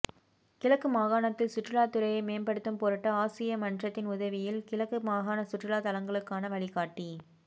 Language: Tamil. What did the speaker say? கிழக்கு மாகாணத்தில் சுற்றுலாத்துறையை மேம்படுத்தும் பொருட்டு ஆசிய மன்றத்தின் உதவியில் கிழக்கு மாகாண சுற்றுலா தளங்களுக்கான வழிகாட்டி